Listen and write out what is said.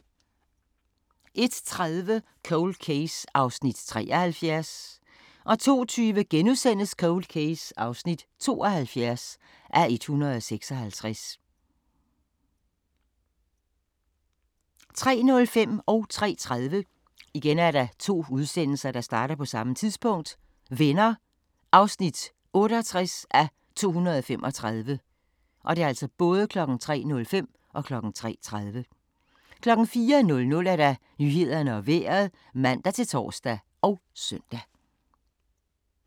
01:30: Cold Case (73:156) 02:20: Cold Case (72:156)* 03:05: Venner (68:235) 03:30: Venner (68:235) 04:00: Nyhederne og Vejret (man-tor og søn)